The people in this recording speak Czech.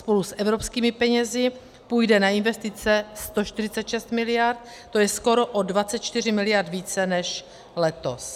Spolu s evropskými penězi půjde na investice 146 miliard, to je skoro o 24 miliard více než letos.